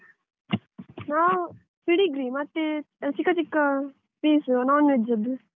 ನಾವ್ Pedigree ಮತ್ತೆ ಚಿಕ್ಕ ಚಿಕ್ಕ piece non-veg ಅದ್ದು.